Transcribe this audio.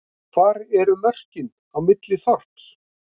hvar eru mörkin á milli þorps